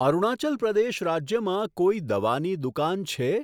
અરુણાચલ પ્રદેશ રાજ્યમાં કોઈ દવાની દુકાન છે?